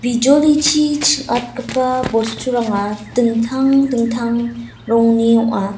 bijolichi ching·atgipa bosturanga dingtang dingtang rongni ong·a.